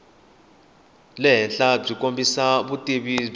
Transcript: le henhlabyi kombisa vutivi byo